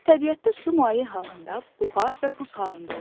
Təbiətdə su maye halında, buxar və buz halında olur.